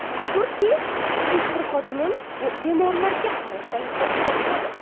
Shukrki, hech bir xodimim bemorlarga qarashdan bosh tortmadi.